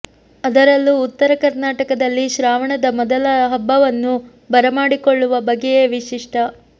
ಅದರಲ್ಲೂ ಉತ್ತರ ಕರ್ನಾಟಕದಲ್ಲಿ ಶ್ರಾವಣದ ಮೊದಲ ಹಬ್ಬವನ್ನು ಬರಮಾಡಿಕೊಳ್ಳುವ ಬಗೆಯೇ ವಿಶಿಷ್ಟ